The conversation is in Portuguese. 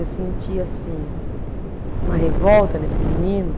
Eu senti, assim, uma revolta nesse menino.